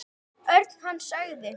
Örn. Hann sagði.